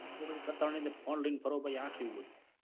કઈ કરતા નઈ તો phone લાઈન ફરો આ કેવું બધું.